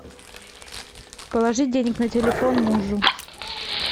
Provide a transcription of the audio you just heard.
положить денег на телефон мужу